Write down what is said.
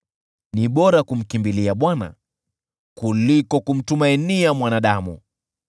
Ni bora kumkimbilia Bwana kuliko kumtumainia mwanadamu.